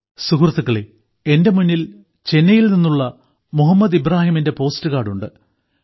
സുഹൃത്തുക്കളെ എന്റെ മുന്നിൽ ചെന്നൈയിൽ നിന്നുള്ള മുഹമ്മദ് ഇബ്രാഹിമിന്റെ പോസ്റ്റ് കാർഡുണ്ട്